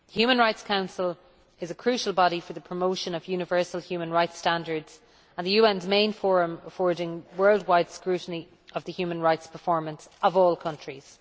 The Human Rights Council is a crucial body for the promotion of universal human rights standards and the UN's main forum affording worldwide scrutiny of the human rights performance of all countries.